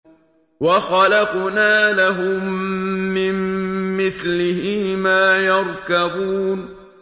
وَخَلَقْنَا لَهُم مِّن مِّثْلِهِ مَا يَرْكَبُونَ